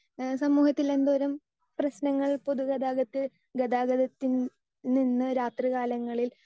speaker 2 ഏഹ് സമൂഹത്തിൽ എന്തേലും പ്രശ്നങ്ങൾ പൊതു ഗതാഗതത്തിൽ ഗതാഗതത്തിൽ നിന്ന് രാത്രികാലങ്ങളിൽ